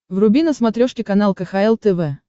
вруби на смотрешке канал кхл тв